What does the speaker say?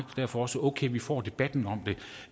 derfor også okay at vi får debatten om